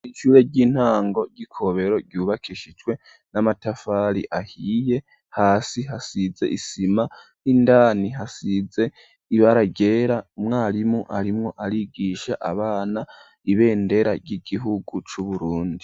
Ishure ry'intango ry'Ikobero ryubakishijwe n'amatafari ahiye, hasi hasize isima, indani hasize ibara ryera, umwarimu arimwo arigisha abana, ibendera ry'igihugu c'Uburundi.